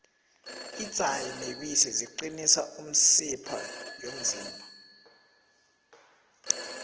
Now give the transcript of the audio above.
idzayi nebisi ziqinisa imisipha yomzimba